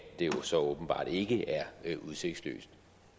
det jo så åbenbart ikke er udsigtsløst